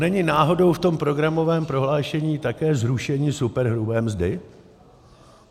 Není náhodou v tom programovém prohlášení také zrušení superhrubé mzdy?